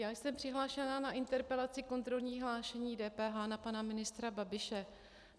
Já jsem přihlášena k interpelaci kontrolní hlášení DPH na pana ministra Babiše.